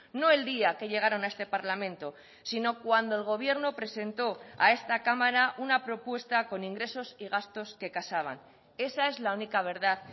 no el día que llegaron a este parlamento sino cuando el gobierno presentó a esta cámara una propuesta con ingresos y gastos que casaban esa es la única verdad